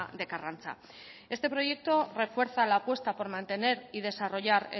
de karrantza este proyecto refuerza la apuesta por mantener y desarrollar